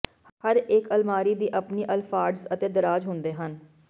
ਹਰੇਕ ਵਿਦਿਆਰਥੀ ਦੀ ਆਪਣੀ ਅਲਫਾਡਸ ਅਤੇ ਦਰਾਜ਼ ਹੁੰਦੇ ਹਨ